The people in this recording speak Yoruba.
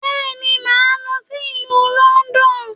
Bẹ́ẹ̀ni, màá lọ sí ìlú London